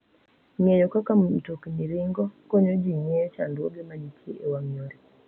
Ng'eyo kaka mtokni ringo konyo ji ng'eyo chandruoge ma nitie e wang' yore.